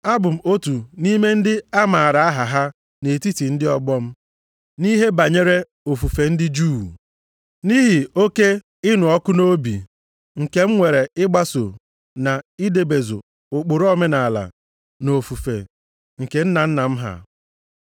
Abụ m otu nʼime ndị amaara aha ha nʼetiti ndị ọgbọ m, nʼihe banyere ofufe ndị Juu. Nʼihi oke ịnụ ọkụ nʼobi nke m nwere ịgbaso na idebezu ụkpụrụ omenaala na ofufe, nke nna nna m ha.